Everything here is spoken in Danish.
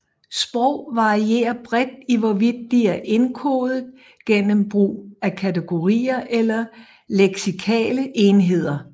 Sprog varierer bredt i hvorvidt de er indkodet gennem brug af kategorier eller leksikale enheder